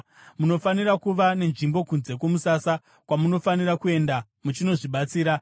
Munofanira kuva nenzvimbo kunze kwomusasa kwamunofanira kuenda muchinozvibatsira.